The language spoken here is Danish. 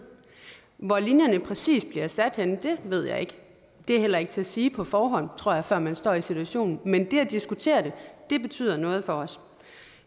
hvorhenne linjerne præcis bliver sat ved jeg ikke det er heller ikke til at sige på forhånd tror jeg før man står i situationen men at diskutere det betyder noget for os